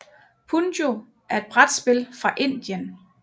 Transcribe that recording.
Punjo er et brætspil fra Indien